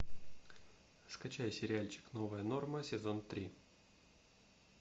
скачай сериальчик новая норма сезон три